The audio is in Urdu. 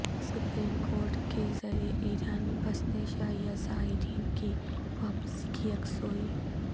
سپریم کورٹ کے ذریعہ ایران میں پھنسے شیعہ زائرین کی واپسی کی یکسوئی